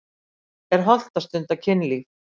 Er hollt að stunda kynlíf?